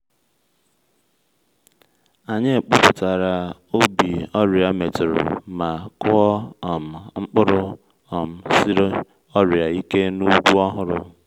anyị kpụpụtara ubi ọrịa metụrụ ma kụọ um mkpụrụ um siri ọrịa ike n’ugwu ọhụrụ